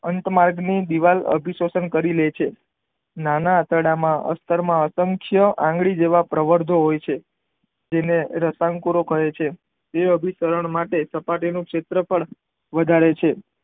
અંત માર્ગ માં દીવાલ અભિસતન કરી લે છે નાના આંતરડામાં અક્રમ આંતકય આંગળી જેવા પ્રવધઓ હોય છે જેને રસાયણ કુરો કહે છે તે અભિસરણ માટે સપાટી નું ક્ષેત્રફળ વધારે છે.